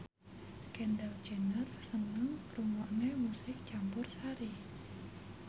Kendall Jenner seneng ngrungokne musik campursari